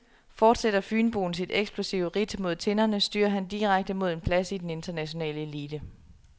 Fortsætter fynboen sit eksplosive ridt mod tinderne, styrer han direkte mod en plads i den internationale elite.